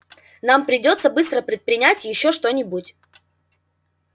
нам придётся быстро предпринять ещё что-нибудь